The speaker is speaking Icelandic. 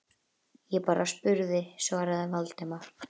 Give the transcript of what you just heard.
Ég bara spurði- svaraði Valdimar.